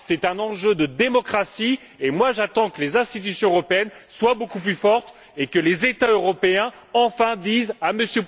C'est un enjeu de démocratie, moi j'attends que les institutions européennes soient beaucoup plus fortes et que les États européens disent enfin à M.